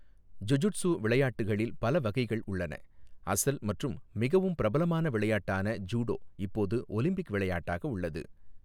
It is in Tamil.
ஜுஜுட்சு விளையாட்டுகளில் பல வகைகள் உள்ளன, அசல் மற்றும் மிகவும் பிரபலமான விளையாட்டான ஜூடோ இப்போது ஒலிம்பிக் விளையாட்டாக உள்ளது.